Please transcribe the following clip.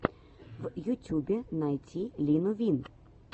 в ютюбе найти лину вин